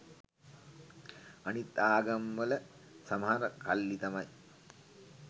අනිත් ආගම වල සමහර කල්ලි තමයි